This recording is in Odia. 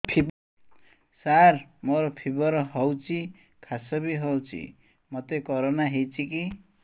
ସାର ମୋର ଫିବର ହଉଚି ଖାସ ବି ହଉଚି ମୋତେ କରୋନା ହେଇଚି କି